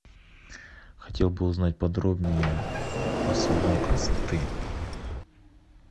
хотел бы узнать подробнее про салон красоты